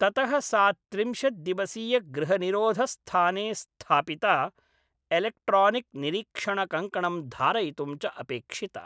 ततः सा त्रिंशत् दिवसीयगृहनिरोधस्थाने स्थापिता, एलेक्ट्रानिक् निरीक्षणकङ्कणं धारयितुं च अपेक्षिता।